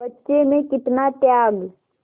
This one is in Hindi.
बच्चे में कितना त्याग